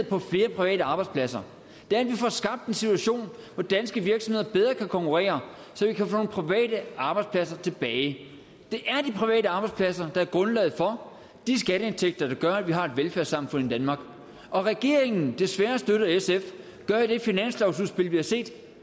flere private arbejdspladser det er at vi får skabt en situation hvor danske virksomheder bedre kan konkurrere så vi kan få nogle private arbejdspladser tilbage det er de private arbejdspladser der er grundlaget for de skatteindtægter der gør at vi har et velfærdssamfund i danmark og regeringen desværre støttet af sf i det finanslovsudspil vi har set